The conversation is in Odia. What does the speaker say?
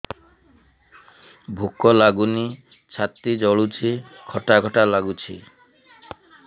ଭୁକ ଲାଗୁନି ଛାତି ଜଳୁଛି ଖଟା ଖଟା ଲାଗୁଛି